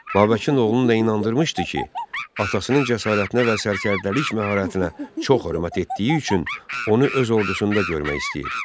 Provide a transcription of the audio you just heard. Babəkin oğlunu da inandırmışdı ki, atasının cəsarətinə və sərkərdəlik məharətinə çox hörmət etdiyi üçün onu öz ordusunda görmək istəyir.